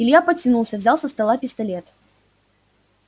илья потянулся взял со стола пистолет